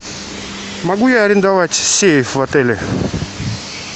могу я арендовать сейф в отеле